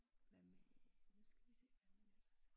Hvad med nu skal vi se her